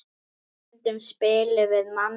Stundum spilum við Manna.